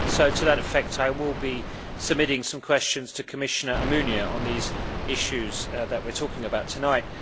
To that effect, I will be submitting some questions to Commissioner Almunia on the issues that we are talking about tonight.